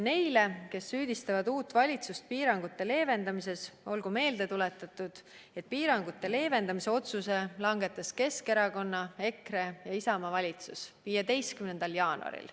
Neile, kes süüdistavad uut valitsust piirangute leevendamises, olgu meelde tuletatud, et piirangute leevendamise otsuse langetas Keskerakonna, EKRE ja Isamaa valitsus 15. jaanuaril.